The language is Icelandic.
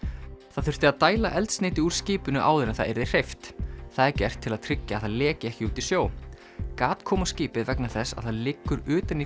það þurfti að dæla eldsneyti úr skipinu áður en það yrði hreyft það er gert til að tryggja að það leki ekki út í sjó gat kom á skipið vegna þess að það liggur utan í